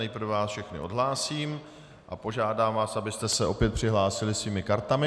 Nejprve vás všechny odhlásím a požádám vás, abyste se opět přihlásili svými kartami.